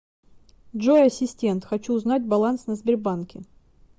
джой ассистент хочу узнать баланс на сбербанке